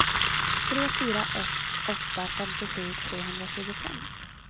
tre fyra ett åtta femtiosju trehundratjugofem